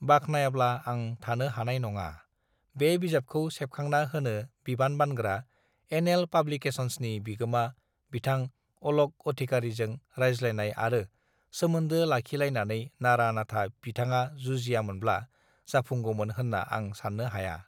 बाखनायाब्ला आं थानो हानाय नङा बे बिजाबखौ सेबखांना होनो बिबान बानग्रा एन एल पाब्लिकेसनसृनि बिगोमा बिथां अलक अधिकारीजों रायज्लायनाय आरो सोमोन्दो लाखिलायनानै नारा नाथा बिथाङा जुजियामोनब्ला जाफुंगौमोन होन्ना आं साननो हाया